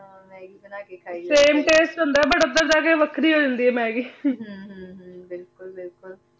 ਹਾਂ maggie ਬਾਨ ਕੇ ਖਾਈ same taste ਹੁੰਦਾ ਬੁਤ ਓਧਰ ਜੇ ਕੇ ਵਖਰੀ ਹੋ ਜਾਂਦੀ ਆਯ meggie ਹਨ ਹਨ ਹਨ ਬਿਲਕੁਲ ਬਿਲਕੁਲ